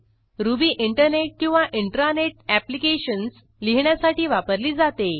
ruby internet किंवा intranet applications लिहिण्यासाठी वापरली जाते